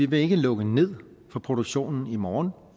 vil lukke ned for produktionen i morgen